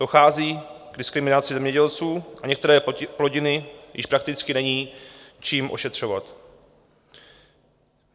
Dochází k diskriminaci zemědělců a některé plodiny již prakticky není čím ošetřovat.